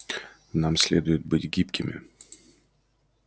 нам следует быть гибкими